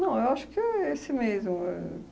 Não, eu acho que é esse mesmo éh